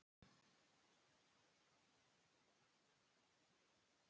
Ég hef ekki heldur hugsað mér að setjast þar að.